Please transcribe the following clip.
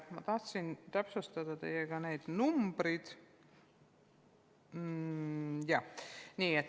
Ma tahan täpsustada neid numbreid.